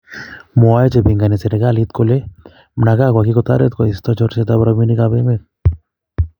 mwoe chepingone serikalit kole Mnangagwa kigotoret kosto chorset ap rabinik ap emet.